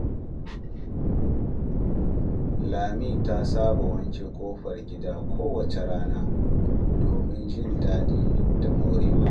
Lami ta saba wanke ƙofar gida kowace rana domin jin daɗi da morewa.